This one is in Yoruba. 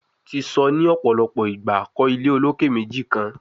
Ti sọ ni ọpọlọpọ igba, kọ ile oloke meji kan